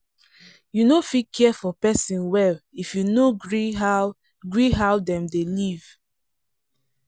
you no fit care for person well if you no gree how gree how dem dey live.